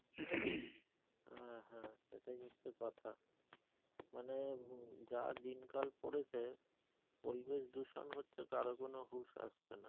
হ্যাঁ হ্যাঁ সেটাই হচ্ছে কথা মানে যা দিন কাল পরেছে পরিবেশ দূষণ হচ্ছে কারো কোন হুশ আসছে না